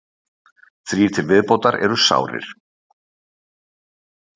Þrír til viðbótar eru sárir